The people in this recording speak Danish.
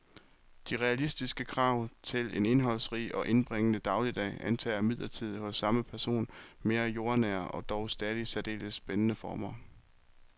De realistiske krav til en indholdsrig og indbringende dagligdag antager imidlertid hos samme person mere jordnære og dog stadig særdeles spændende former.